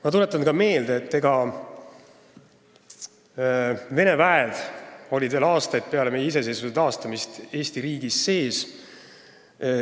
Ma tuletan ka meelde, et Vene väed olid veel aastaid peale meie iseseisvuse taastamist Eesti riigis sees.